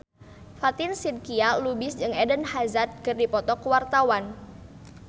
Fatin Shidqia Lubis jeung Eden Hazard keur dipoto ku wartawan